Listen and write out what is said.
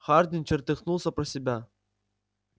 хардин чертыхнулся про себя